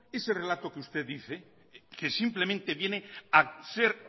ese relato que usted dice que simplemente viene a ser